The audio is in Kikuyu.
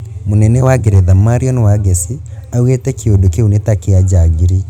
mũnene wa ngeretha marion wangeci augĩte kĩũndũ kĩu nĩ ta kia njangiri